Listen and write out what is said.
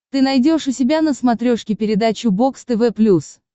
ты найдешь у себя на смотрешке передачу бокс тв плюс